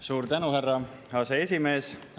Suur tänu, härra aseesimees!